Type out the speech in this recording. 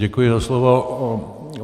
Děkuji za slovo.